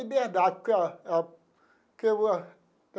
Liberdade porque ó eu que eu.